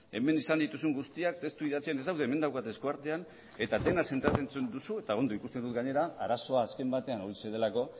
hemen esan dituzun guztiak testu idatzian ez daude hemen daukat eskuartean eta dena zentratzen duzu eta ondo ikusten dut gainera arazoa azken batean horixe delako